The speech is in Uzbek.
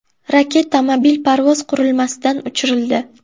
Raketa mobil parvoz qurilmasidan uchirildi.